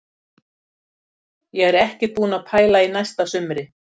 Ég er ekkert búinn að pæla í næsta sumri.